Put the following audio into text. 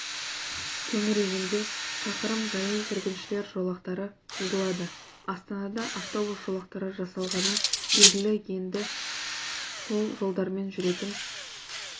төңірегінде шақырым жаяу жүргіншілер жолақтары сызылады астанада автобус жолақтары жасалғаны белгілі енді сол жолдармен жүретін